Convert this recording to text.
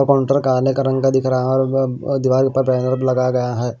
Counter काले का रंग का दिख रहा है अ दीवार के ऊपर लगाया गया है।